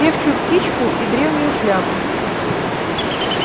певчую птичку и древнюю шляпу